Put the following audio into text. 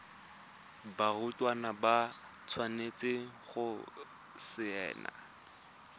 barutwana ba tshwanetse go saena